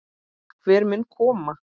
Hver mun koma?